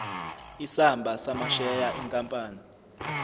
isamba samasheya enkampani